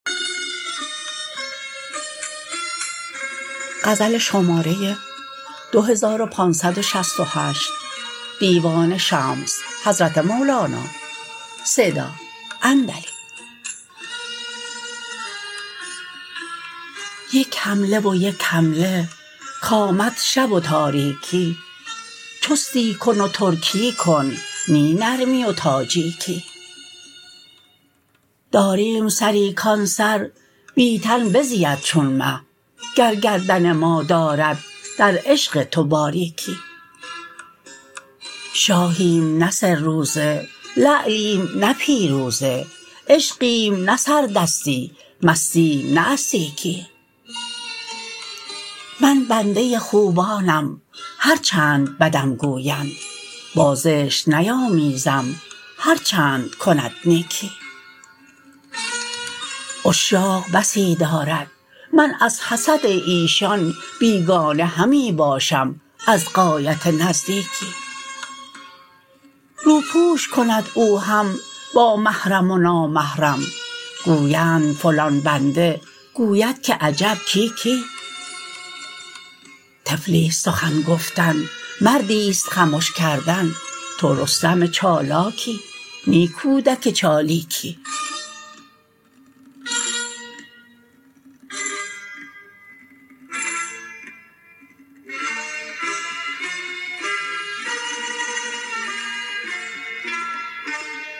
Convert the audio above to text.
یک حمله و یک حمله کآمد شب و تاریکی چستی کن و ترکی کن نی نرمی و تاجیکی داریم سری کان سر بی تن بزید چون مه گر گردن ما دارد در عشق تو باریکی شاهیم نه سه روزه لعلیم نه پیروزه عشقیم نه سردستی مستیم نه از سیکی من بنده خوبانم هر چند بدم گویند با زشت نیامیزم هر چند کند نیکی عشاق بسی دارد من از حسد ایشان بیگانه همی باشم از غایت نزدیکی روپوش کند او هم با محرم و نامحرم گویند فلان بنده گوید که عجب کی کی طفلی است سخن گفتن مردی است خمش کردن تو رستم چالاکی نی کودک چالیکی